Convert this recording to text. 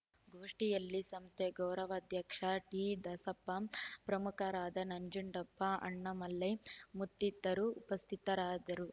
ಗೋಷ್ಠಿಯಲ್ಲಿ ಸಂಸ್ಥೆ ಗೌರವಾಧ್ಯಕ್ಷ ಟಿ ದಾಸಪ್ಪ ಪ್ರಮುಖರಾದ ನಂಜುಂಡಪ್ಪ ಅಣ್ಣಾಮಲೈ ಮುತ್ತಿತರರು ಉಪಸ್ಥಿತರದ್ದರು